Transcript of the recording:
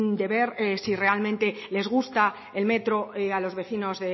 de ver si realmente les gusta el metro a los vecinos